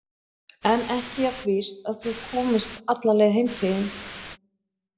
En ekki jafn víst að þú komist alla leið heim til þín.